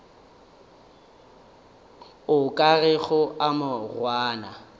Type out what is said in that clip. o ka rego a morwana